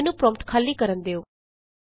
ਮੈਨੂੰ ਪਰੋਂਪਟ ਖਾਲੀ ਕਰਨ ਦਿਉ